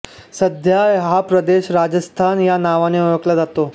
सध्या हा प्रदेश राजस्थान या नावाने ओळखला जातो